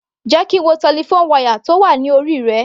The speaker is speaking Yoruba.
Jẹ́ kí n wo telephone wire tó wà ní orí rẹ.